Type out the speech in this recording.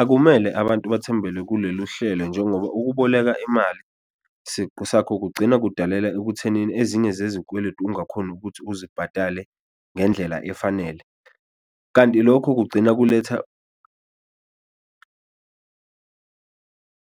Akumele abantu bathembele kulolu hlelo njengoba ukuboleka imali siqu sakho kugcina kudalela ekuthenini ezinye zezikweledu ungakhoni ukuthi uzibhadale ngendlela efanele, kanti lokho kugcina kuletha